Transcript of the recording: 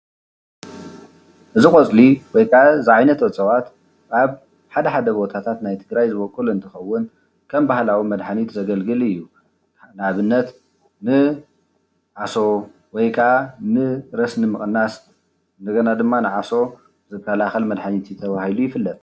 እዚ ቆፅሊ ወይ ከዓ እዚ ዓይነት እፅዋት ኣብ ሓደሓደ ቦታታት ናይ ትግራይ ዝቦቅል እንትከውን ከም ባህላዊ መድሓኒት ዘገለግል እዩ። ንኣብነት ንዓሶ ወይ ከኣ ንረስኒ ምቅናስ እንደገና ድማ ነዓሶ ዝካላከል መድሓኒት እዩ ተባሂሉ ይፍለጥ።